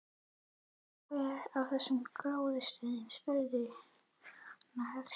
Veistu hver á þessa gróðrarstöð? spurði hann höstugur.